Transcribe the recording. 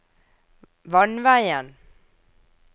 vannveien